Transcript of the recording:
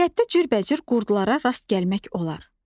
Təbiətdə cürbəcür qurdlarara rast gəlmək olar.